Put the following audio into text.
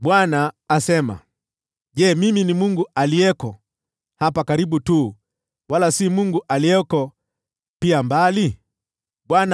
“Je, mimi ni Mungu aliyeko hapa karibu tu,” Bwana asema, “wala si Mungu aliyeko pia mbali?